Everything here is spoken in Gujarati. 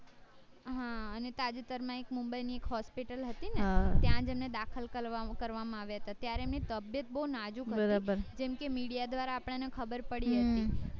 હા અને તાજેતાર માં એક મુંબઈ ની એક hospital હતી ને ત્યાજ એમને દાખલ કરવામાં આવ્યા હતા ત્યારે એમની તબિયત બૌ નાજુક હતી જેમ કે media દ્વારા આપણને ખબર પડી એમ કે